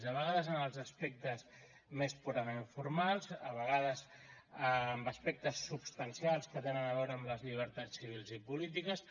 a vegades en els aspectes més purament formals a vegades en aspectes substancials que tenen a veure amb les llibertats civils i polítiques